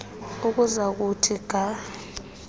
ukuza kuthi ga